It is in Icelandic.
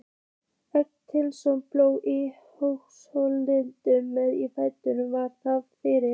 Eggertssyni bónda í Sólheimatungu, með í ferðinni var faðir minn